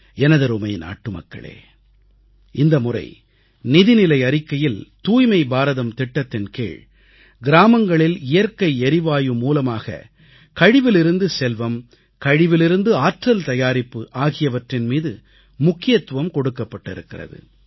எனதருமை நாட்டுமக்களே இந்தமுறை நிதிநிலை அறிக்கையில் தூய்மை பாரதம் திட்டத்தின் கீழ் கிராமங்களில் இயற்கை எரிவாயு மூலமாக கழிவிலிருந்து செல்வம் கழிவிலிருந்து ஆற்றல் தயாரிப்பு ஆகியவற்றின் மீது முக்கியத்துவம் கொடுக்கப்பட்டிருக்கிறது